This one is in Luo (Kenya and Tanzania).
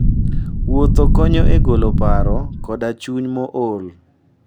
Wuoth konyo e golo paro koda chuny mool.